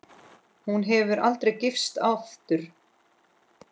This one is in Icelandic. Hún hefur ekki gifst aftur.